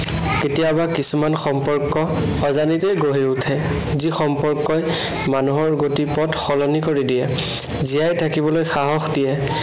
কেতিয়াবা কিছুমান সম্পৰ্ক অজানিতে গঢ়ি উঠে, যি সম্পৰ্কই মানুহৰ গতিপথ সলনি কৰি দিয়ে। জীয়াই থাকিবলৈ সাহস দিয়ে।